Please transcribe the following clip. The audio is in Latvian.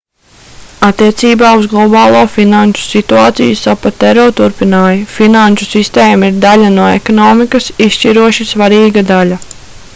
attiecībā uz globālo finanšu situāciju sapatero turpināja: finanšu sistēma ir daļa no ekonomikas izšķiroši svarīga daļa